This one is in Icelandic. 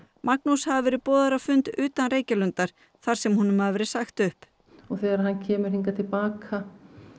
Magnús hafi verið boðaður á fund utan Reykjalundar þar sem honum hafi verið sagt upp og þegar hann hann kemur hingað til baka